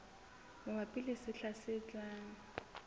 mabapi le sehla se tlang